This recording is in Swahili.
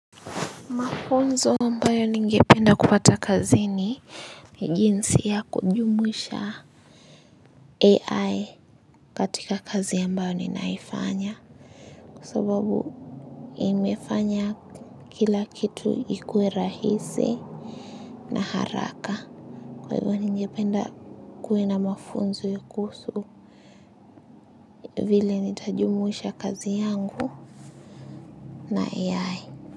Mafunzo ambayo ningependa kupata kazini ni jinsi ya kujumuisha ai katika kazi ambayo ninaifanya kwa sababu imefanya kila kitu kikue rahisi na haraka kwa hivyo ningependa kuwe na mafunzo ya kuhusu vile nitajumuisha kazi yangu na ai.